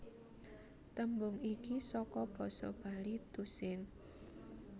Tembung iki saka basa Bali tusing